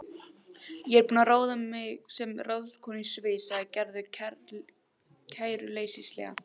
Ég er búin að ráða mig sem ráðskonu í sveit, sagði Gerður kæruleysislega.